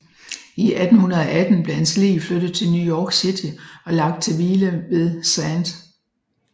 I 1818 blev hans lig flyttet til New York City og lagt til hvile ved St